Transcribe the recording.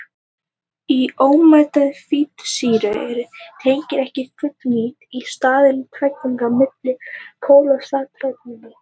Í ómettaðri fitusýru eru tengin ekki fullnýtt, í staðinn er tvítengi á milli kolefnisatómanna.